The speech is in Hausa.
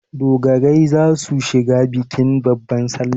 Dogarai za su shiga bikin babban salla.